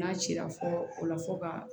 N'a cira fɔ o la fo ka